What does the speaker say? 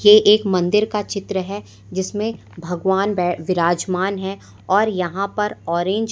ये एक मंदिर का चित्र है जिसमें भगवान बै विराजमान हैं और यहां पर ऑरेंज --